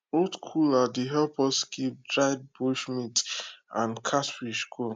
old cooler dey help us keep dried bush meat and catfish cool